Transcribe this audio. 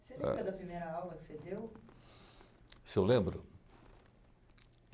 Você lembra da primeira aula que você deu? Se eu lembro?